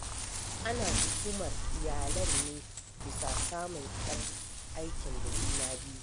Ana tuhumar iyalan ne bisa samun yar aikin da juna-biyu.